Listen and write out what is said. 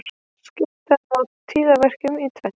Skipta má tíðaverkjum í tvennt.